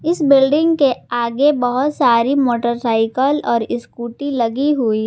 इस बिल्डिंग के आगे बहुत सारी मोटरसाइकल और स्कूटी लगी हुई है।